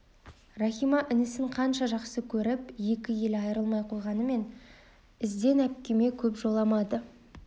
рахима інісін қанша жақсы көріп екі елі айрылмай қойғанымен іздән әпкеме көп жоламады